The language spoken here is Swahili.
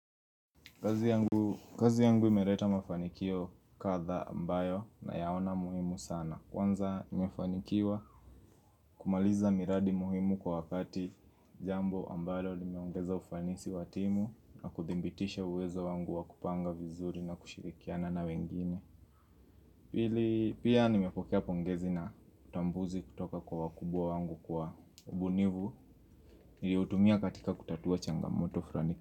Kazi yangu imeleta mafanikio kadhaa ambayo nayaona muhimu sana Kwanza nimefanikiwa kumaliza miradi muhimu kwa wakati jambo ambalo limeongeza ufanisi wa timu na kuthibitisha uwezo wangu wa kupanga vizuri na kushirikiana na wengine Pili pia nimepokea pongezi na utambuzi kutoka kwa wakubwa wangu kwa ubunifu Niliutumia katika kutatua changamoto fulani.